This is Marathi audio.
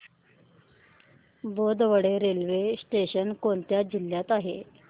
बोदवड रेल्वे स्टेशन कोणत्या जिल्ह्यात आहे